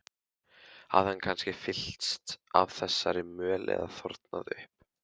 Hafði hann kannski fyllst af þessari möl eða þornað upp?